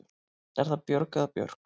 Er það Björg eða Björk?